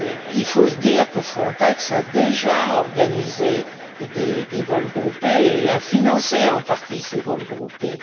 Il faut se dire que Frontex a déjà organisé des vols groupés et a financé en partie ces vols groupés.